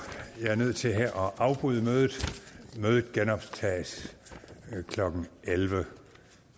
at jeg er nødt til her at afbryde mødet mødet genoptages klokken elleve